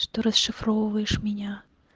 что расшифровывается меня